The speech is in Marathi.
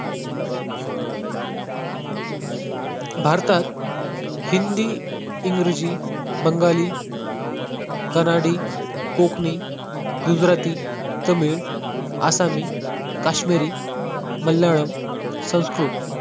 भारतात हिंदी, इंग्रजी, बंगाली, कनाडि, कोकणी, गुजराती, तमिळ, आसामी, काश्मिरी, मल्याळम, संस्कृत